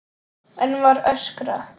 Enn var öskrað.